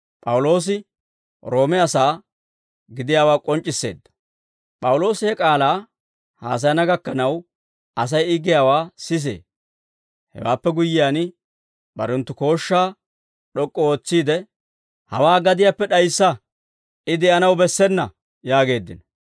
P'awuloosi he k'aalaa haasayana gakkanaw Asay I giyaawaa sisee; hewaappe guyyiyaan, barenttu kooshshaa d'ok'k'u ootsiide, «Hawaa gadiyaappe d'ayissa; I de'anaw bessena» yaageeddino.